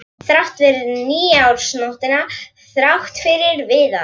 Þrátt fyrir nýársnóttina, þrátt fyrir Viðar.